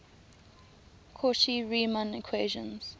cauchy riemann equations